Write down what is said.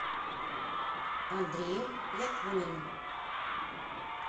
андрею якунину